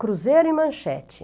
Cruzeiro e Manchete.